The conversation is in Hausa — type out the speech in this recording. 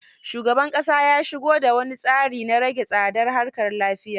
Shugaban ƙasa ya sigo da wani tsari na rahe tsadar harkar lafiya